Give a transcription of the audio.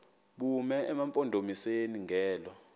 bume emampondomiseni ngelo